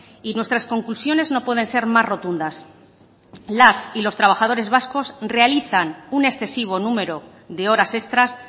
y nuestras conclusiones no pueden ser más rotundas las y los trabajadores vascos realizan un excesivo número de horas extras